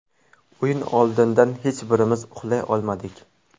O‘yin oldidan hech birimiz uxlay olmadik.